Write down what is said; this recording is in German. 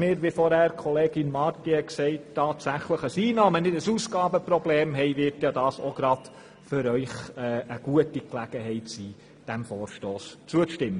wie Kollegin Marti vorhin gesagt hat, und wir tatsächlich ein Einnahmen- und nicht ein Ausgabenproblem haben, können Sie die Gelegenheit nutzen und diesem Vorstoss zustimmen.